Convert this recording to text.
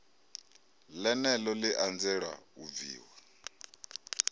ḽeneḽo ḽi anzela u bviwa